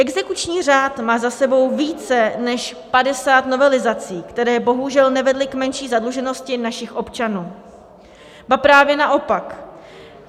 Exekuční řád má za sebou více než 50 novelizací, které bohužel nevedly k menší zadluženosti našich občanů, ba právě naopak.